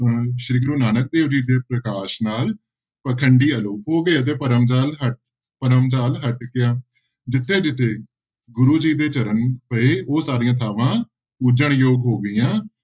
ਅਹ ਸ੍ਰੀ ਗੁਰੂ ਨਾਨਕ ਦੇਵ ਜੀ ਦੇ ਪ੍ਰਕਾਸ਼ ਨਾਲ ਪਾਖੰਡੀ ਆਲੋਪ ਹੋ ਗਏ ਤੇ ਭਰਮ ਜ਼ਾਲ ਹ ਭਰਮ ਜ਼ਾਲ ਹਟ ਗਿਆ, ਜਿੱਥੇ ਜਿੱਥੇ ਗੁਰੂ ਜੀ ਦੇ ਚਰਨ ਪਏ ਉਹ ਸਾਰੀਆਂ ਥਾਵਾਂ ਪੂਜਣਯੋਗ ਹੋ ਗਈਆਂ।